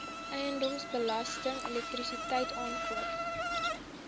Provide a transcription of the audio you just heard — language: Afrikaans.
eiendomsbelasting elektrisiteit aankope